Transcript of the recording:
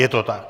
Je to tak.